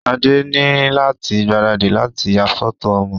Sade ni lati gbaradì lati ya fọto ọmọ.